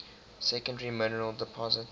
secondary mineral deposits